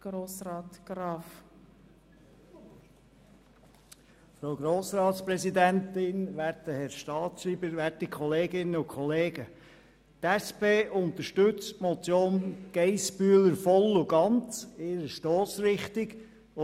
Die SP-JUSO-PSA-Fraktion unterstützt die Stossrichtung der Motion von Frau Geissbühler voll und ganz und lehnt sie deshalb ab.